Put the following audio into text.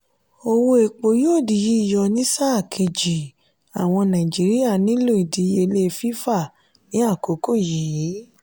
owó epo yóò dì yíyọ ní sáà kejì àwọn naijiria nílò ìdíyelé fífà ní àkókò yí.